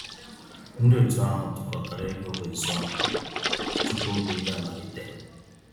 Ndị otu ahụ tụkọtara égo wéé zụọ nkụ tupu oge oyi amalite.